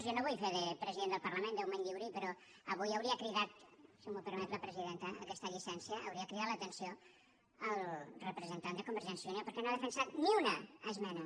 jo no vull fer de president del parlament déu me’n lliuri però avui si em permet la presidenta aquesta llicència hauria cridat l’atenció al representant de convergència i unió perquè no ha defensat ni una esmena